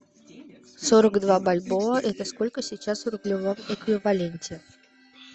сорок два бальбоа это сколько сейчас в рублевом эквиваленте